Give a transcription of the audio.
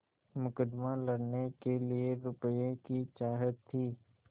मुकदमा लड़ने के लिए रुपये की चाह थी